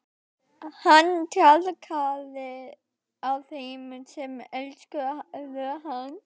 Hann traðkaði á þeim sem elskuðu hann.